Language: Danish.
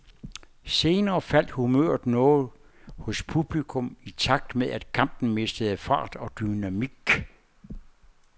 Senere faldt humøret noget hos publikum i takt med, at kampen mistede fart og dynamik.